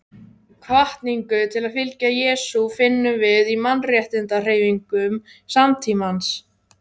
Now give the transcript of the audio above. Hvatningu til að fylgja Jesú finnum við í mannréttindahreyfingum samtímans.